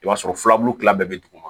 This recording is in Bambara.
I b'a sɔrɔ filabulu kila bɛɛ bɛ duguma